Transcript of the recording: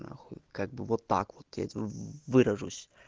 на хуй как бы вот так вот этим выражусь